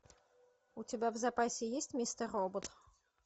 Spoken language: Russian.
у тебя в запасе есть мистер робот